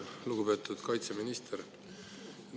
Lugupeetud kaitseminister!